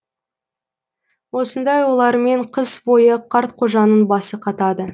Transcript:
осындай ойлармен қыс бойы қартқожаның басы қатады